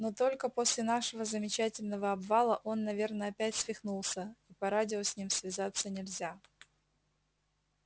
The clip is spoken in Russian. но только после нашего замечательного обвала он наверно опять свихнулся и по радио с ним связаться нельзя